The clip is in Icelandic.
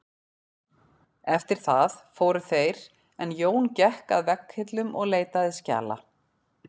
Eftir það fóru þeir en Jón gekk að vegghillum og leitaði skjala.